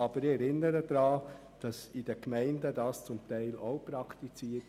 Aber so wird es in den Gemeinden zum Teil auch praktiziert.